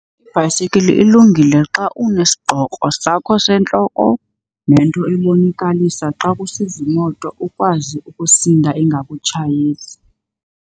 Ibhayisikili ilungile xa unesigqoko sakho sentloko nento ebonakalisa xa kusiza imoto ukwazi ukusinda ingakutshayisi.